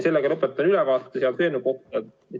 Sellega lõpetan ülevaate eelnõu kohta.